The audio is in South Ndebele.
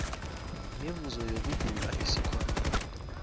mivuzo yokugula esikhwameni